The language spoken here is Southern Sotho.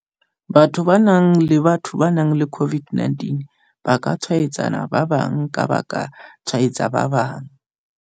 Batho ba nang le Batho ba nang le COVID-19 ba ka tshwaetsa ba bang ka ba ka tshwaetsa ba bang ka.